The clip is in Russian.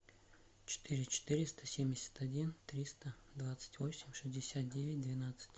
четыре четыреста семьдесят один триста двадцать восемь шестьдесят девять двенадцать